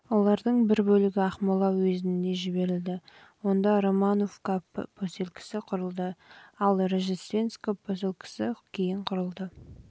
олардың бір бөлігі ақмола уезіне жіберілді онда жылы романовка поселкесі құрылды ал жылы рождественка поселкесі құрылды